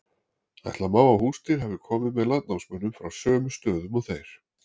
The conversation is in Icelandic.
Ætla má að húsdýr hafi komið með landnámsmönnum frá sömu stöðum og þeir.